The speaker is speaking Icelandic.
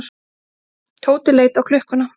Tóti leit á klukkuna.